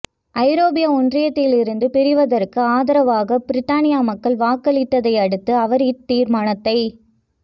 ஐரோப்பிய ஒன்றியத்திலிலிருந்து பிரிவதற்கு ஆதரவாக பிரித்தானிய மக்கள் வாக்களித்ததையடுத்து அவர் இத்தீர்மானத்தை